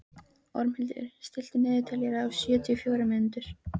Ormhildur, stilltu niðurteljara á sjötíu og fjórar mínútur.